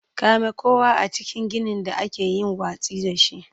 Kame kowa a cikin ginin da aka yi watsi da shi.